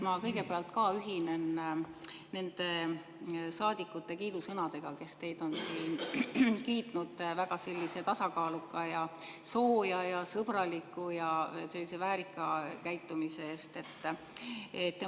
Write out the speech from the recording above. Ma kõigepealt ühinen nende saadikute kiidusõnadega, kes teid on siin kiitnud väga tasakaaluka, sooja, sõbraliku ja väärika käitumise eest.